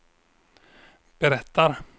berättar